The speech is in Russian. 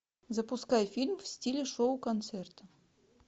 запускай фильм в стиле шоу концерт